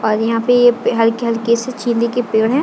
और यहाँ पे यह हल्के हलके सी चिल्ली की पेड़ हैं।